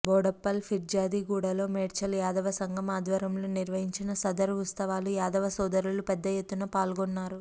బోడుప్పల్ ఫీర్జాదీగూడ లో మేడ్చల్ యాదవ సంఘం ఆధ్వర్యంలో నిర్వహించిన సదర్ ఉత్సవాలు యాదవ సోదరులు పెద్దెత్తున పాల్గొన్నారు